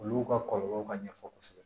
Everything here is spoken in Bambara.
Olu ka kɔlɔlɔw ka ɲɛfɔ kosɛbɛ